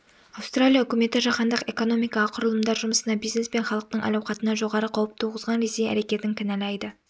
аустралия үкіметі жаһандық экономикаға құрылымдар жұмысына бизнес пен халықтың әл-ауқатына жоғары қауіп туғызған ресей әрекетін кінәлайды